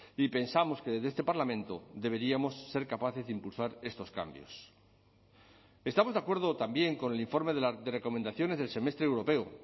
y pensamos que desde este parlamento deberíamos ser capaces de impulsar estos cambios estamos de acuerdo también con el informe de recomendaciones del semestre europeo